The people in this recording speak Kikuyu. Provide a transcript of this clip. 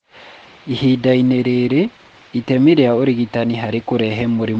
Ihinda-inĩ rĩrĩ, itemi rĩa ũrigitani harĩ kũrehe mũrimũ wa lipedema rĩtimenyekaga.